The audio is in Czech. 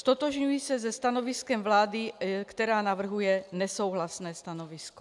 Ztotožňuji se se stanoviskem vlády, která navrhuje nesouhlasné stanovisko.